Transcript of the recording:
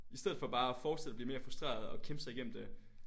I stedet for bare at fortsætte og blive mere frustreret og kæmpe sig i gennem det